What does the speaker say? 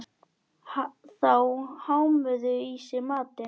Þau hámuðu í sig matinn.